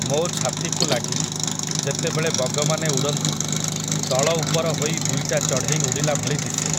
ମୋ ଛାତିକୁ ଲାଗି, ଯେତେବେଳେ ବଗମାନେ ଉଡ଼ନ୍ତି, ତଳଉପର ହୋଇ ଦୁଇଟା ଚଢ଼େଇ ଉଡ଼ିଲାଭଳି ଦିଶେ ।